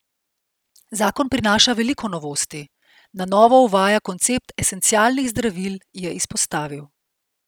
Zakon prinaša veliko novosti, na novo uvaja koncept esencialnih zdravil, je izpostavil.